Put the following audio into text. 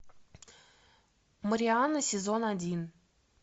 марианна сезон один